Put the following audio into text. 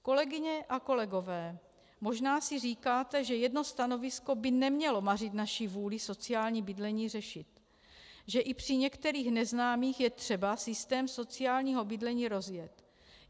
Kolegyně a kolegové, možná si říkáte, že jedno stanovisko by nemělo mařit naši vůli sociální bydlení řešit, že i při některých neznámých je třeba systém sociálního bydlení rozvíjet.